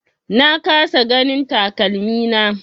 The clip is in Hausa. Na kasa ganin takalmina.